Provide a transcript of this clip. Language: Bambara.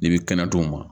N'i bi kɛnɛ t'o ma